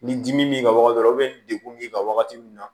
Ni dimi b'i kan wagati dɔ la ni degun b'i kan wagati min na